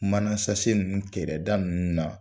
Manasase ninnu kɛrɛda ninnu na